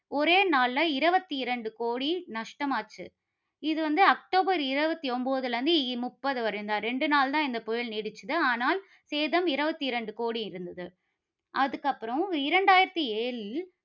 ஒரே நாள்ல இருபத்தி இரண்டு கோடி, நஷ்டமாச்சு. இது வந்து அக்டோபர் இருபத்தி ஒன்பதுல இருந்து, முப்பது வரைதான். ரெண்டு நாள் தான் இந்த புயல் நீடிச்சது. ஆனால், சேதம் இருபத்தி இரண்டு கோடி இருந்தது. அதுக்கப்புறம் இரண்டாயிரத்து ஏழில்